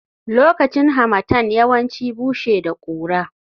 Lokacin Harmattan yawanci bushe da kura